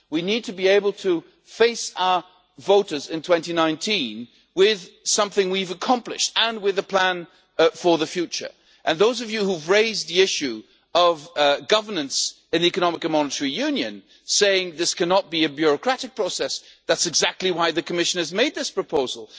We need to be able to face our voters in 2019 with something we have accomplished and with a plan for the future, and for those of you who have raised the issue of governance in the economic and monetary union, saying that this cannot be a bureaucratic process that is exactly why the Commission has made this proposal.